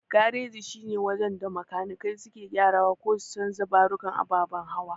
Gareji shine wajen da makanikai suke gyarawa ko su canja ɓarukan ababan hawa.